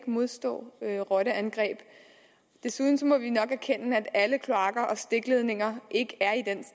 modstå rotteangreb desuden må vi nok erkende at alle kloakker og stikledninger ikke